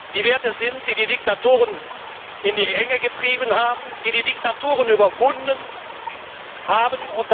die Werte sind, die die Diktatoren in die Enge getrieben haben und die Diktaturen überwunden haben.